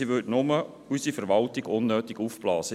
sie würde nur unsere Verwaltung unnötig aufblasen.